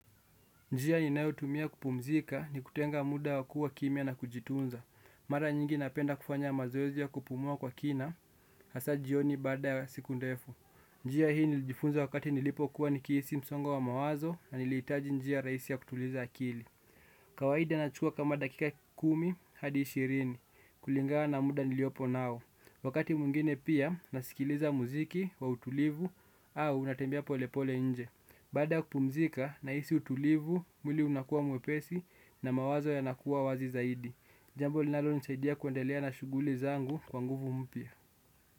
Njia ninayotumia kupumzika ni kutenga muda wa kuwa kimya na kujitunza. Mada nyingi napenda kufanya mazoezi ya kupumua kwa kina, hasa jioni baada ya siku ndefu. Njia hii nilijifunza wakati nilipokuwa nikihisi msongo wa mawazo na nilihitaji njia rahisi ya kutuliza akili. Kawaida nachukua kama dakika kumi hadi ishirini, kulingana na muda niliopo nao. Wakati mwingine pia nasikiliza muziki wa utulivu au natembea pole pole nje. Baada ya kupumzika nahisi utulivu, mwili unakuwa mwepesi na mawazo yanakuwa wazi zaidi. Jambo linalonisaidia kuendelea na shughuli zangu kwa nguvu mpya.